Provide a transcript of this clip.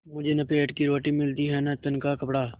मुझे न पेट की रोटी मिलती है न तन का कपड़ा